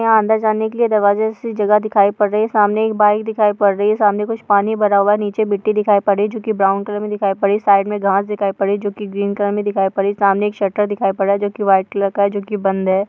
यहाँ अंदर जाने के लिए दरवाजा से जगह दिखाई पड़ रही है। सामने एक बाइक दिखाई पड़ रही है। सामने कुछ पानी भरा हुआ है । नीचे मिट्टी दिखाई पड़ रही है जो की ब्राउन कलर में दिखाई पड़ रही है। साइड मे घांस दिखाई पड़ रही है जो की ग्रीन कलर मे दिखाई पड़ रही है। सामने एक शटर दिखाई पड़ रहा है जो की व्हाइट कलर का है जो की बंद है।